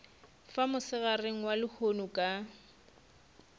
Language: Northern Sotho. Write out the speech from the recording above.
fa mosegareng wa lehono ka